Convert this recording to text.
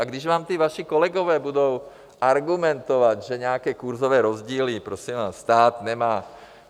A když vám ti vaši kolegové budou argumentovat, že nějaké kurzové rozdíly, prosím vás, stát nemá...